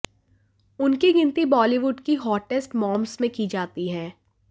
उनकी गिनती बॉलीवुड की हॉटेस्ट मॉम्स में की जाती हैं